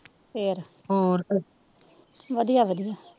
ਫਿਰ ਵਧੀਆ ਵਧੀਆ